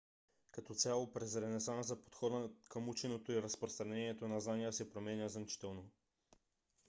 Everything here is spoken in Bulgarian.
като цяло през ренесанса подходът към ученето и разпространението на знания се променя значително